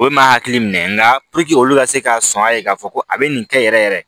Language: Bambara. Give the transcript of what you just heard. Olu ma hakili minɛ nka olu ka se ka sɔn a ye k'a fɔ ko a bɛ nin kɛ yɛrɛ yɛrɛ